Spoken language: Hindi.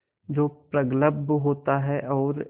जो प्रगल्भ होता है और